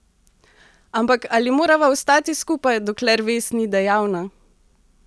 Ampak ali morava ostati skupaj, dokler vez ni dejavna?